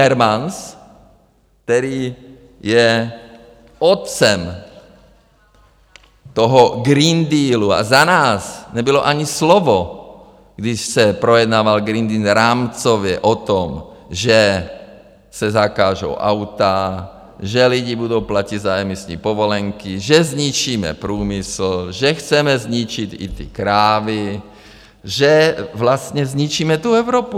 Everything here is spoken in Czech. Timmermans, který je otcem toho Green Dealu a za nás nebylo ani slovo, když se projednával Green Deal rámcově, o tom, že se zakážou auta, že lidi budou platit za emisní povolenky, že zničíme průmysl, že chceme zničit i ty krávy, že vlastně zničíme tu Evropu.